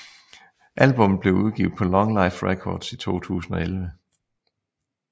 Albummet blev udgivet på LongLife Records i 2011